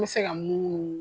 An bɛ se ka munu munu